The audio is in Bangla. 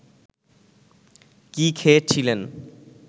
কি খেয়ে ছিলেন